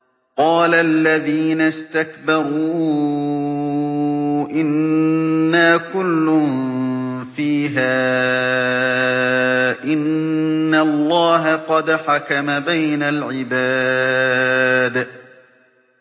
قَالَ الَّذِينَ اسْتَكْبَرُوا إِنَّا كُلٌّ فِيهَا إِنَّ اللَّهَ قَدْ حَكَمَ بَيْنَ الْعِبَادِ